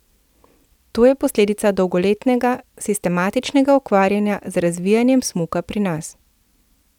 To je posledica dolgoletnega sistematičnega ukvarjanja z razvijanjem smuka pri nas.